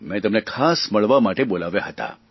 મેં તેમને ખાસ મળવા મટે બોલાવ્યા હતા